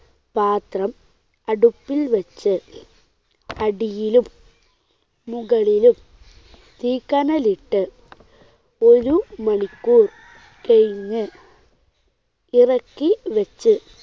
പാത്രം അടുപ്പിൽ വെച്ച് അടിയിലും മുകളിലും തീക്കനൽ ഇട്ട് ഒരു മണിക്കൂർ കഴിഞ്ഞ് ഇറക്കി വെച്ച്